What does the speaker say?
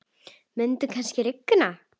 Mun kannski rigna?